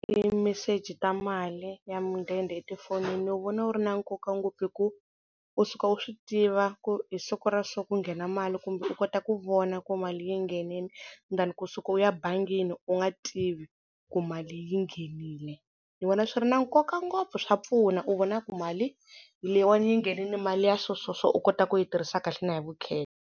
I meseji ta mali ya mudende etifonini ni wu vona wu ri na nkoka ngopfu hi ku u suka u swi tiva ku hi siku ra so ku nghena mali kumbe u kota ku vona ku mali yi nghenile than kusuka u ya bangini u nga tivi ku mali yi nghenile, ni vona swi ri na nkoka ngopfu swa pfuna u vona ku mali hi leyiwana yi nghenile mali ya so so so u kota ku yi tirhisa kahle na hi vukheta.